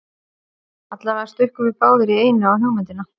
Allavega stukkum við báðir í einu á hugmyndina.